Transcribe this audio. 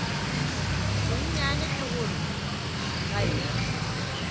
bonnyane ke gore ga ke